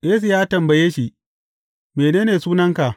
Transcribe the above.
Yesu ya tambaye shi, Mene ne sunanka?